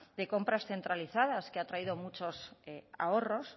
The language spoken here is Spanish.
de compras centralizadas que ha traído muchos ahorros